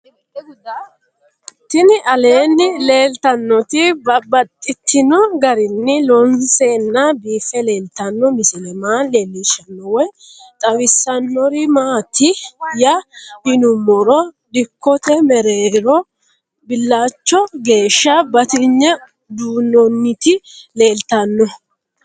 Tinni aleenni leelittannotti babaxxittinno garinni loonseenna biiffe leelittanno misile maa leelishshanno woy xawisannori maattiya yinummoro dikkotte mereerro bilachcho geesha batinye duunnonnitti leelittanno